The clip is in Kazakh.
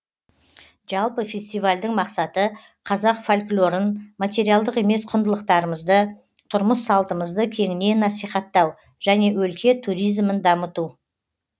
жалпы фестивальдің мақсаты қазақ фольклорын материалдық емес құндылықтарымызды тұрмыс салтымызды кеңінен насихаттау және өлке туризімін дамыту